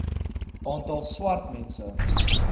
aantal swart mense